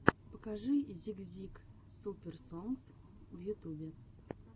покажи зик зик суперс сонгс в ютубе